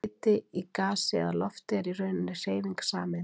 Hiti í gasi eða lofti er í rauninni hreyfing sameindanna.